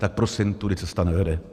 Tak prosím, tudy cesta nevede.